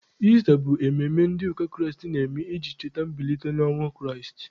Ista bụ emume ndị ụka Kraịst na-eme iji cheta mbilite n'ọnwụ Kraịst.